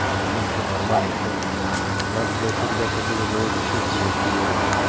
да ничего нормально что ты у нас блять ребята были за обе щёки его хуярили